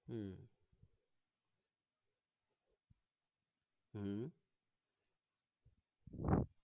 উম উম